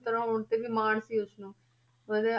ਪੁੱਤਰ ਹੋਣ ਤੇ ਵੀ ਮਾਣ ਸੀ ਉਸਨੂੰ ਉਹਦੇ